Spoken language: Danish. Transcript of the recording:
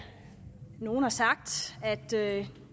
nogle har sagt at